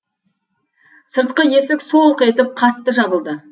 сыртқы есік солқ етіп қатты жабылды